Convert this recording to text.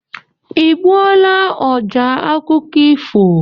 I gbuola ọjá akụkọ ifo?